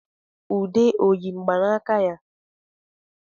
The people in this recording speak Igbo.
Ude ọ yi mgbanaka ya?